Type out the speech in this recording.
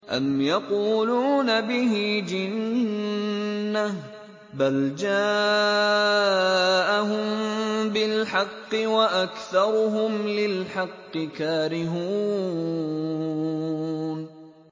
أَمْ يَقُولُونَ بِهِ جِنَّةٌ ۚ بَلْ جَاءَهُم بِالْحَقِّ وَأَكْثَرُهُمْ لِلْحَقِّ كَارِهُونَ